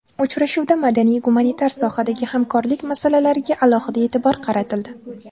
Uchrashuvda madaniy-gumanitar sohadagi hamkorlik masalalariga alohida e’tibor qaratildi.